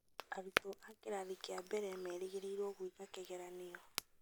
Arutwo a kĩrathi kĩa mbere merĩgĩrĩrwo gũĩka kĩgeranio